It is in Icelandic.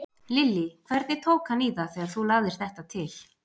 Lillý: Hvernig tók hann í það þegar þú lagðir þetta til?